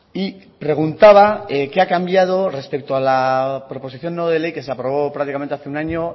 y preguntaba qué ha cambiado respecto a la proposición no de ley que se aprobó prácticamente hace un año